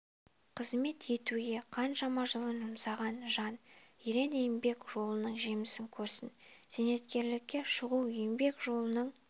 қызмет етуге қаншама жылын жұмсаған жан ерен еңбек жолының жемісін көрсін зейнеткерлікке шығу еңбек жолының